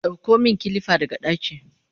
ɗauko min kilifa daga ɗaki!